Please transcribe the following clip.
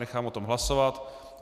Nechám o tom hlasovat.